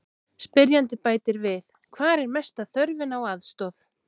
Spyrjandi bætir við: Hvar er mesta þörfin á aðstoð?